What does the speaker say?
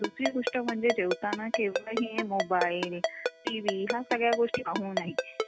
दुसरी गोष्ट म्हणजे जेवताना केव्हाही मोबाइल, टीव्ही ह्या सगळ्या गोष्टी पाहू नाही.